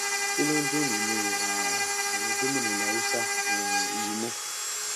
kí ló ń dún nínú um àwọn gómìnà ilẹ haúsá um yìí ná